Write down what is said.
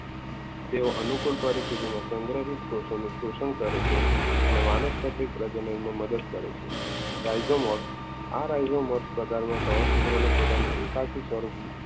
તેઓ અનુકૂળ પરિસ્થિતિમાં સંગ્રહિત કોષોનું શોષણ કરે છે અને વાનસ્પતિક પ્રજનનમાં મદદ કરે છે રાજ્યોમાં આ રાજ્યોમાં પ્રકારમાં કવચ સૂત્રોનું પોતાનું એકાકી સ્વરૂપ જોવા મળે છે.